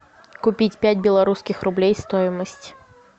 купить пять белорусских рублей стоимость